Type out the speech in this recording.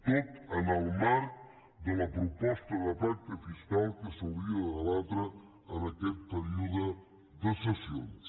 tot en el marc de la proposta de pacte fiscal que s’hauria de debatre en aquest període de sessions